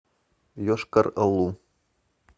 йошкар олу